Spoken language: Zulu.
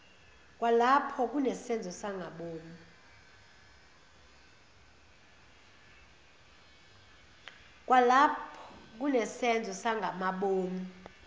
kwalapho kunesenzo sangamabomu